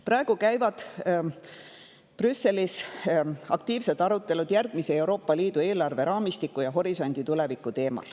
Praegu käivad Brüsselis aktiivsed arutelud Euroopa Liidu järgmise eelarveraamistiku ja horisondi tuleviku teemal.